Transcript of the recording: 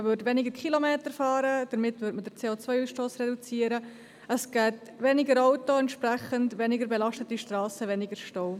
Man würde weniger Kilometer fahren, damit würde man den CO-Ausstoss reduzieren, es hätte weniger Autos, entsprechend auch weniger belastete Strassen und weniger Staus.